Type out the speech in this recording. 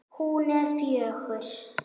Hún er fjögur.